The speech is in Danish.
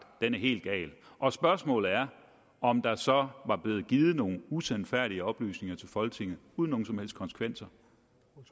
den er helt gal og spørgsmålet er om der så var blevet givet nogle usandfærdige oplysninger til folketinget uden nogen som helst konsekvenser